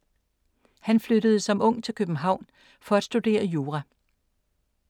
Han flyttede som ung til København for at studere jura.